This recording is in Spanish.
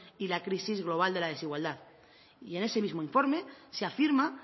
y la crisis global de la desigualdad y en ese mismo informe se afirma